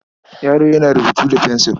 Yaro yana rubutu da fensil.